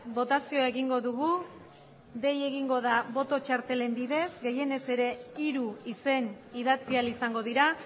botazioa egingo dugu dei egingo da boto txartelen bidez gehienez ere hiru izen idatzi ahal izango dira